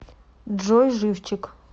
джой живчик